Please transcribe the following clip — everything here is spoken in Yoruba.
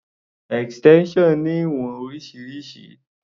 Extension ní ìwọ̀n oríṣiríṣi.